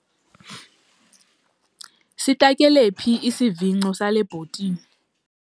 Sitakele phi isivingco sale bhotile?